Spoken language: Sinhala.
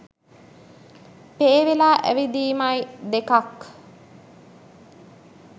පේ වෙලා ඇවිදීමයි දෙකක්.